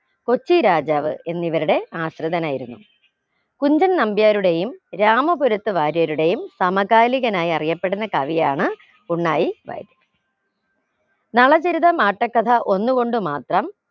കൊച്ചി രാജാവ് എന്നിവരുടെ ആശ്രിതനായിരുന്നു കുഞ്ചൻ നമ്പ്യാരുടെയും രാമപുരത്ത് വാര്യരുടെയും സമകാലികനായി അറിയപ്പെടുന്ന കവിയാണ് ഉണ്ണായി വാര്യർ നളചരിതം ആട്ടക്കഥ ഒന്നുകൊണ്ടു മാത്രം